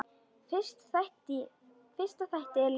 Fyrsta þætti er lokið.